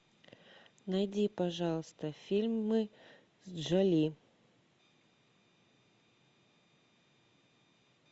найди пожалуйста фильмы с джоли